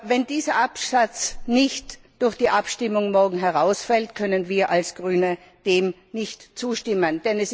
Wenn dieser Absatz morgen nicht durch die Abstimmung herausfällt, können wir als Grüne dem nicht zustimmen.